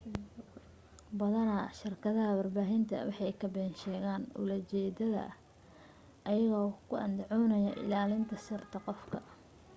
badanaa shirkadaha warbaahinta waxay ka been sheegaan ula jeedada iyago ku andacoonayo ilaa linta sirta qofka